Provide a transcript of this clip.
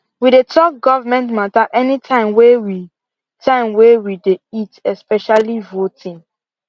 we dey talk government matter any time way we time way we dey eat especially voting